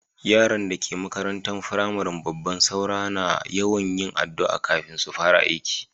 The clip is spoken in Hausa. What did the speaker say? Yarann da ke makarantan firamarin babban Saura na yawan yin addu'a kafin su fara aiki.